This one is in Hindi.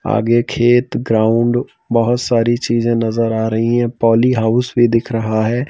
आगे खेत ग्राउंड बहुत सारी चीजें नज़र आ रही है पॉली हाउस भी दिख रहा है।